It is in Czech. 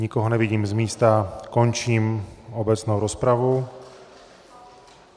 Nikoho nevidím z místa, končím obecnou rozpravu.